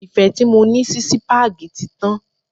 Ìfẹ́ tí mo ní sí sípágì tí tán.